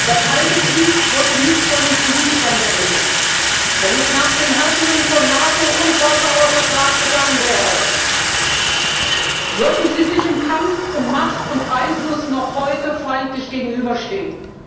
Der Kalte Krieg wurde nicht von den Politikern beendet. Wenn es nach den Herrschenden von NATO und Warschauer Vertrag gegangen wäre, würden sie sich im Kampf um Macht und Einfluss noch heute feindlich gegenüberstehen.